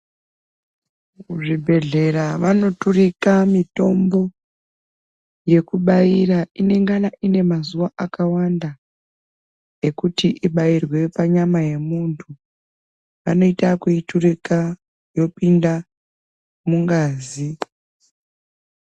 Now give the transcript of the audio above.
Muzvibhehlera vanoturika mitombo yekubaira inengana ine mazuwa akawanda ekuti ibairwe panyama yemuntu. Vanoita ekuiturika yopinda mungazi.